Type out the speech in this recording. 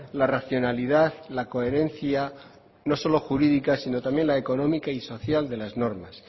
la racionalidad la coherencia no solo jurídica sino también la económica y social de las normas